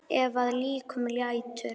Ef að líkum lætur.